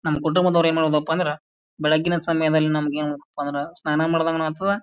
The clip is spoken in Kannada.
ನಮ್ ಕುಟುಂಬದವರು ಏನ್ ಹೇಳೋದಪ್ಪ ಅಂದ್ರ ಬೆಳಿಗ್ಗಿನ ಸಮಯದಲ್ಲಿ ನಮಗೇನಪ್ಪಾ ಅಂದ್ರ ಸ್ನಾನ ಮಾಡದಂಗನು ಆಗ್ತದ--